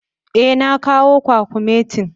Eh, na kawo kwakumetin.